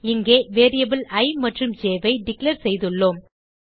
இங்கே வேரியபிள் இ மற்றும் jஐ டிக்ளேர் செய்துள்ளோம்